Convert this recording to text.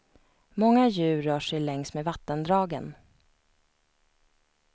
Många djur rör sig längs med vattendragen.